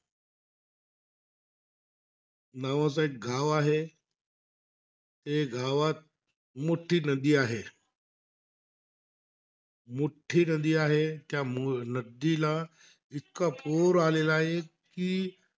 नावाचा एक गाव आहे. त्या गावात एक मोठी नदी आहे. मोठी नदी आहे. त्या नदीला इतका पूर आलेला आहे कि,